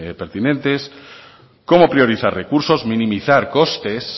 pertinentes cómo priorizar recursos minimizar costes